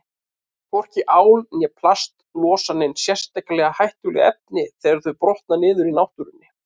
Hvorki ál né plast losa nein sérstaklega hættuleg efni þegar þau brotna niður í náttúrunni.